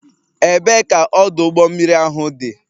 Ebee ka ọdụ ụgbọ mmiri ahụ dị?